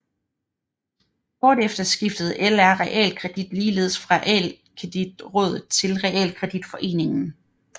Kort efter skiftede LR Realkredit ligeledes fra Realkreditrådet til Realkreditforeningen